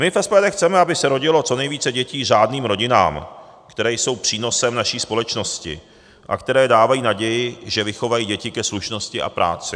My v SPD chceme, aby se rodilo co nejvíce dětí řádným rodinám, které jsou přínosem naší společnosti a které dávají naději, že vychovají děti ke slušnosti a práci.